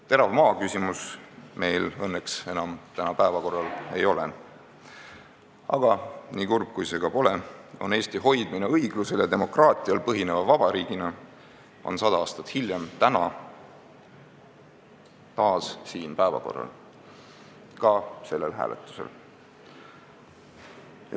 " Terav maaküsimus meil õnneks enam päevakorral ei ole, aga nii kurb kui see ka pole, Eesti hoidmine õiglusel ja demokraatial põhineva vabariigina on sada aastat hiljem, täna, taas päevakorral, ka sellel hääletusel.